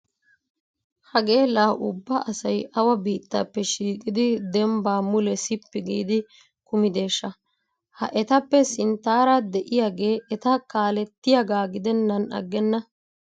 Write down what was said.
Hagee laa ubba asay awa biittaappe shiiqidi dembba mule sippi giidi kumideeshsha! Ha etappe sinttara de'iyagee eta kaalettiyagaa gidennan aggenna.